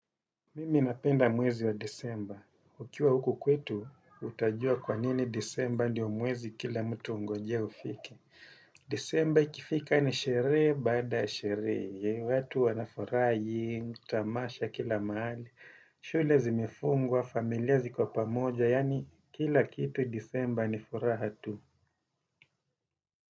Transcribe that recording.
Mimi napenda mwezi wa Desemba. Ukiwa huku kwetu, utajua kwa nini Desemba ndio mwezi kila mtu hungoje ufike. Desemba ikifika ni sherehe baada sherehe. Watu wanafurahi, tamasha kila mahali, shule zimefungwa, familia ziko pamoja, yaani kila kitu Desemba ni furaha tu.